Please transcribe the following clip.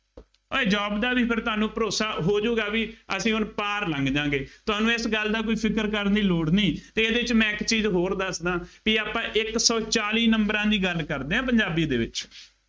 ਉਏ job ਦਾ ਵੀ ਫੇਰ ਤੁਹਾਨੂੰ ਭਰੋਸਾ ਹੋ ਜਾਊਗਾ ਬਈ ਅਸੀਂ ਹੁਣ ਪਾਰ ਲੰਘ ਜਾ ਗੇ, ਤੁਹਾਨੂੰ ਇਸ ਗੱਲ ਦਾ ਕੋਈ ਫਿਕਰ ਕਰਨ ਦੀ ਲੋੜ ਨਹੀਂ ਅਤੇ ਇਹਦੇ ਚ ਮੈਂ ਇੱਕ ਚੀਜ਼ ਹੋਰ ਦੱਸ ਦਿਆਂ ਬਈ ਆਪਾਂ ਇੱਕ ਸੌ ਚਾਲੀ ਨੰਬਰਾਂ ਦੀ ਗੱਲ ਕਰਦੇ ਹਾਂ ਪੰਜਾਬੀ ਦੇ ਵਿੱਚ,